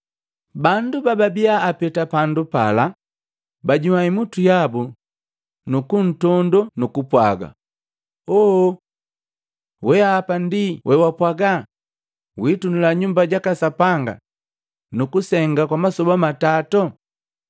Bandu bababiapeta pandu pala, bannyua imutu yabu nu kuntondo nu kupwaga, “Ooo! Wehapa ndi wewapwaga witunula Nyumba jaka Sapanga nukusenga kwa masoba matato!